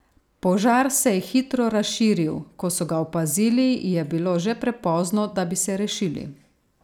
Požar se je hitro razširil, ko so ga opazili, je bilo že prepozno, da bi se rešili.